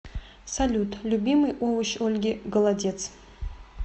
салют любимый овощ ольги голодец